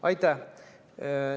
Aitäh!